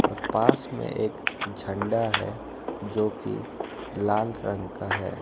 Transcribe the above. और पास में एक झंडा है जोकि लाल रंग का है ।